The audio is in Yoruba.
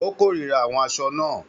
Ó kórìíra àwọ̀ aṣọ náà.